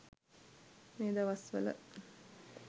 මේ දවස්වල